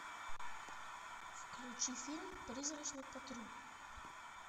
включи фильм призрачный патруль